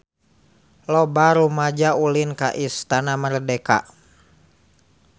Loba rumaja ulin ka Istana Merdeka